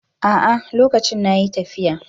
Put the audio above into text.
A'a, lokacin na yi tafiya.